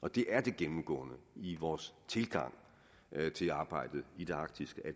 og det er det gennemgående i vores tilgang til arbejdet i det arktiske at